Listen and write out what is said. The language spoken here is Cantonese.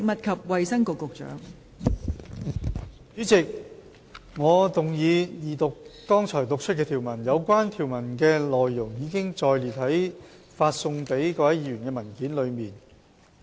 代理主席，我動議二讀剛讀出的條文，有關條文的內容已載列於發送給各位議員的文件中。